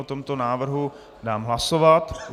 O tomto návrhu dám hlasovat.